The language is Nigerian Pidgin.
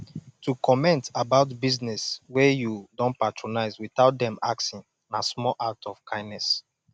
to comment about business wey you don patronise without dem asking na small act of kindness